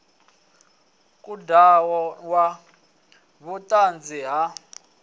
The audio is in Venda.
khud ano ya vhutanzi ha